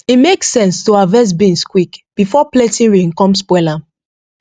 e make sense to harvest beans quick before plenty rain come spoil am